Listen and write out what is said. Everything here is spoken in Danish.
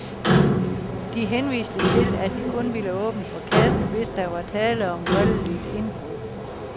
De henviste til, at de kun ville åbne for kassen, hvis der var tale om voldeligt indbrud.